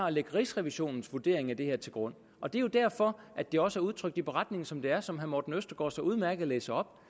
at lægge rigsrevisionens vurdering af det her til grund og det er derfor at det også er udtrykt i beretningen som det er og som herre morten østergaard så udmærket læser